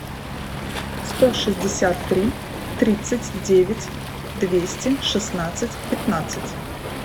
сто шестьдесят три тридцать девять двести шестнадцать пятнадцать